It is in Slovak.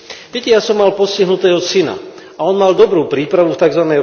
Viete, ja som mal postihnutého syna, a on mal dobrú prípravu v tzv.